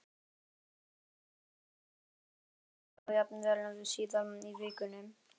Jóhann: Já, og líklega þá jafnvel síðar í vikunni?